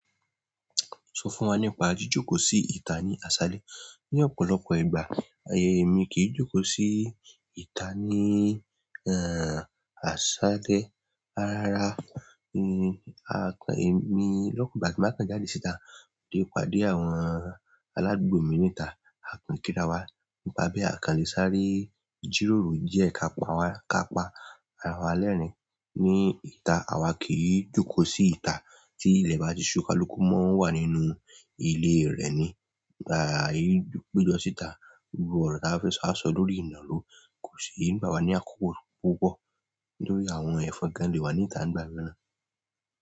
Sọ fún wa nípa jíjókòó sí ìta ní aṣálẹ́. Ní ọ̀pọ̀lọpọ̀ ìgbà, èmi kì í jókòó sí ìta ní, ẹ́, aṣálẹ́. Rárá, ẹ, àkan èmi lopin ìgbà tí mo bàá kan jáde síta, ti mo padé àwọn aládùúgbò mi níta. A kàn kí ra wa. Nípa bẹ àkan lè sáré jíròrò jẹ́ ká pa wa, ká pa ara wa lẹ́rìn-ín ní ìta. Àwa kì í jókòó sí ìta tí ilẹ̀ bá ti ṣú kalùkù mọ́ ń wà nínú ilé rẹ̀ ni. Ai pé jọ si'ta gbogbo ọrọ ti a ba fẹ sọ ko sí ní gbà wà ní àkókò púpọ̀ nítorí àwọn ẹ̀fọn gan lè wà níta nígbà míràn.